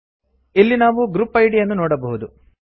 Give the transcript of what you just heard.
ಇಲ್ಲಿ ನಾವು group ID ಯನ್ನು ನೋಡಬಹುದು